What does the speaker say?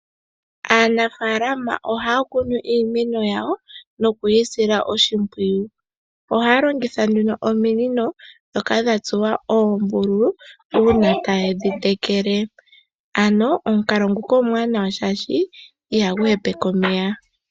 Aanafaalama ohaya kunu iimeno yawo nokuyi sila oshipwiyu. Ohaya longitha ominino ndhoka dhatsuwa oombuthulu uuna tadhi tekele. Omukalo nguka omwaanawa oshoka ihagu hepeke omeya.